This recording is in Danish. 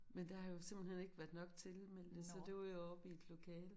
Men der har jo simpelthen ikke været nok tilmeldte så det var jo oppe i et lokale